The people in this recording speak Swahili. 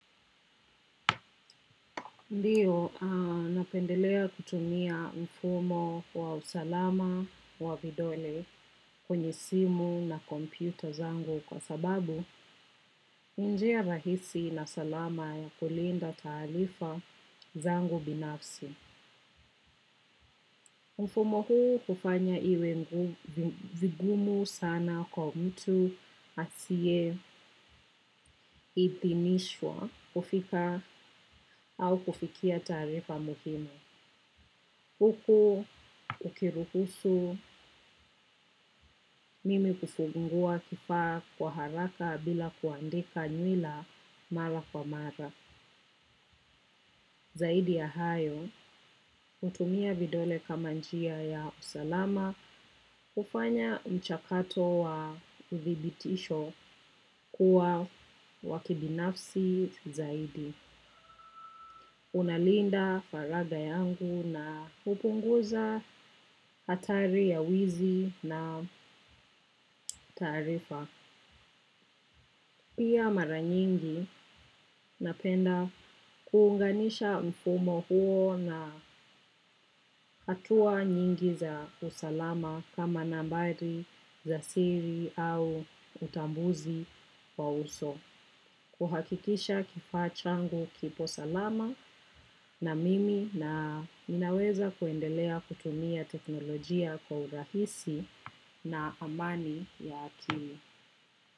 Ndiyo napendelea kutumia mfumo wa usalama wa vidole kwenye simu na kompyuta zangu kwa sababu ni njia rahisi na salama ya kulinda taarifa zangu binafsi. Mfumo huu hufanya iwe vigumu sana kwa mtu asiye idhinishwa kufika au kufikia taarifa muhimu. Huku ukiruhusu mimi kufungua kifaa kwa haraka bila kuandika nywila mara kwa mara. Zaidi ya hayo, hutumia vidole kama njia ya usalama kufanya mchakato wa uvibitisho kuwa wa kibinafsi zaidi. Unalinda faraga yangu na hupunguza hatari ya wizi na taarifa. Pia mara nyingi napenda kuunganisha mfumo huo na hatua nyingi za usalama kama nambari za siri au utambuzi wa uso. Kuhakikisha kifaa changu kipo salama na mimi na ninaweza kuendelea kutumia teknolojia kwa urahisi na amani ya akini.